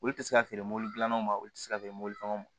Olu tɛ se ka feere mɔbili dilan ma olu tɛ se ka feere mɔbili caman ma